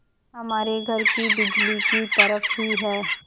हमारे घर की बिजली की तरह ही है